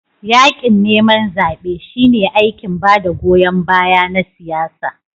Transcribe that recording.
Yaƙin neman zaɓe shine aikin ba da goyon baya na siyasa.